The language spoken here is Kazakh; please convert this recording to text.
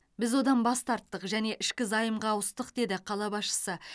біз одан бас тарттық және ішкі займға ауыстық деді қала басшысы